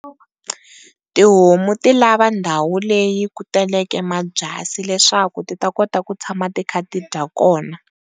Tihomu ti lava ndhawu leyi ku taleke mabyasi leswaku ti ta kota ku tshama ti kha ti dya kona.